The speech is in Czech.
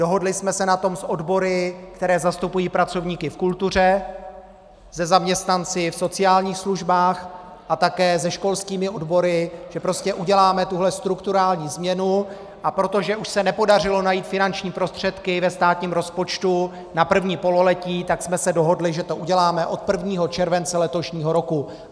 Dohodli jsme se na tom s odbory, které zastupují pracovníky v kultuře, se zaměstnanci v sociálních službách a také se školskými odbory, že prostě uděláme tuhle strukturální změnu, a protože už se nepodařilo najít finanční prostředky ve státním rozpočtu na první pololetí, tak jsme se dohodli, že to uděláme od 1. července letošního roku.